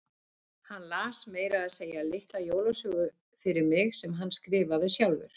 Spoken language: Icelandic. Hann las meira að segja litla jólasögu fyrir mig sem hann skrifaði sjálfur.